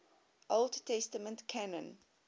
old testament canon